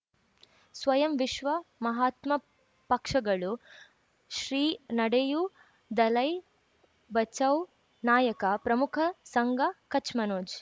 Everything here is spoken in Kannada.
ಸ್ವಯಂ ವಿಶ್ವ ಮಹಾತ್ಮ ಪಕ್ಷಗಳು ಶ್ರೀ ನಡೆಯೂ ದಲೈ ಬಚೌ ನಾಯಕ ಪ್ರಮುಖ ಸಂಘ ಕಚ್ ಮನೋಜ್